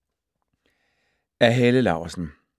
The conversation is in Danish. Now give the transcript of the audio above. Af Helle Laursen